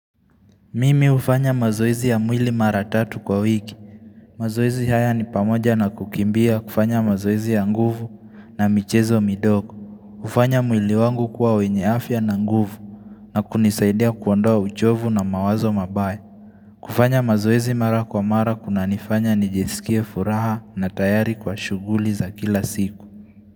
Mimi hufanya mazoezi ya mwili mara tatu kwa wiki mazoezi haya ni pamoja na kukimbia kufanya mazoezi ya nguvu na michezo midogo hufanya mwili wangu kwa wenye afya na nguvu na kunisaidia kuwandoa uchovu na mawazo mabaye kufanya mazoizi mara kwa mara kuna nifanya nijesikia furaha na tayari kwa shughuli za kila siku.